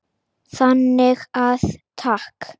Þannig að takk.